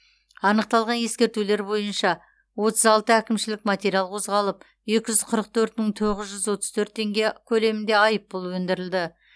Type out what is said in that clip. анықталған ескертулер бойынша отыз алты әкімшілік материал қозғалып екі жүз қырық төрт мың сегіз жүз отыз төрт теңге көлемінде айыппұл өндірілді